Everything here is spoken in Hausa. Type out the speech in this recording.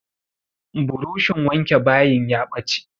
Buroshin wanke bayin ya ɓace.